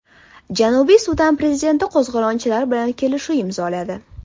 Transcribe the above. Janubiy Sudan prezidenti qo‘zg‘olonchilar bilan kelishuv imzoladi.